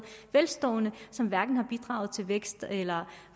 velstående som hverken har bidraget til vækst eller